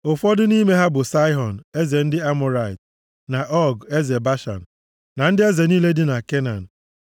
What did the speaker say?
Ụfọdụ nʼime ha bụ Saịhọn, eze ndị Amọrait, na Ọg eze Bashan, na ndị eze niile dị na Kenan.